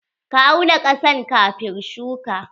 Ka auna ƙasar kafin shuka?